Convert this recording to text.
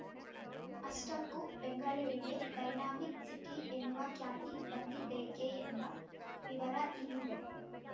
ಅಷ್ಟಕ್ಕೂ ಬೆಂಗಳೂರಿಗೆ dynamic city ಎನ್ನುವ ಖ್ಯಾತಿ ಬಂದಿದ್ದೇಕೆ ಎಂಬ ವಿವರ ಇಲ್ಲಿದೆ